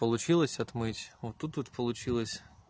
получилось отмыть вот тут вот получилось